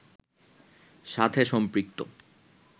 সাথে সম্পৃক্ত